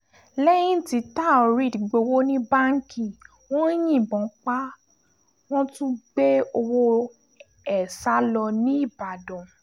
lẹ́yìn tí taoreed gbowó ní báǹkì wọn yìnbọn pa á wọ́n tún gbé owó ẹ̀ sá lọ nìbàdàn